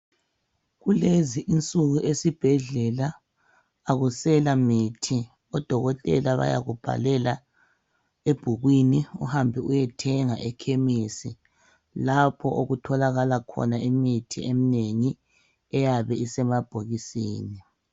Kulezi insuku esibhedlela akusela mithi odokotela bayakubhalela ebhukwini uhambe uyethenga ekhemisi lapho okutholakala khona imithi emnengi eyabe isemabhokisini.